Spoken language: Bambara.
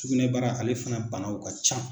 Sugunɛ bara ale fana banaw ka can.